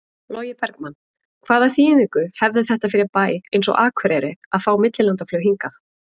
Logi Bergmann: Hvaða þýðingu hefði þetta fyrir bæ eins og Akureyri að fá millilandaflug hingað?